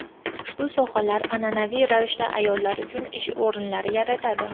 Ushbu sohalar an’anaviy ravishda ayollar uchun ish o‘rinlari yaratadi.